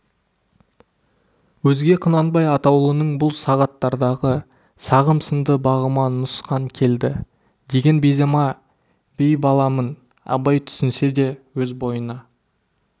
өзге құнанбай атаулының бұл сағаттардағы сағым сынды бағыма нұқсан келді деген беймаза байбаламын абай түсінсе де өз бойына